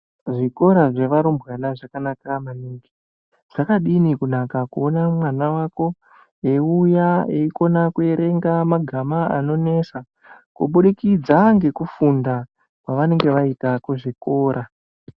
Zvikora zvevarumbwana zvakanaka maningi. Zvakadini kunaka kuona mwana wako eiuya eikona kuerenga magama anonesa, kuburikidza nekufunda kwavanenge vaita kuzvikora?